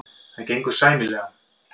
Það gengur sæmilega.